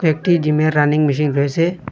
ও একটি জিমের running machine রয়েছে।